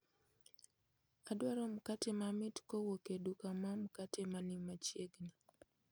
Adwaro mkate mamit kowuok e duka ma mkate ma ni machiegni